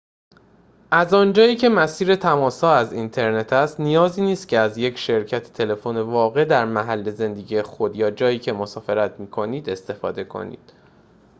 از آنجایی که مسیر تماس‌ها از اینترنت است نیازی نیست که از یک شرکت تلفن واقع در محل زندگی خود یا جایی که مسافرت می‌کنید استفاده کنید